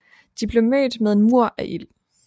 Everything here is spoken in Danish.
De blev mødt med en mur af ild